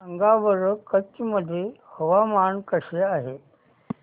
सांगा बरं कच्छ मध्ये हवामान कसे आहे